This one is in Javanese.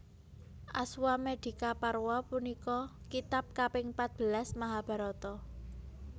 Aswamedikaparwa punika kitab kaping patbelas Mahabharata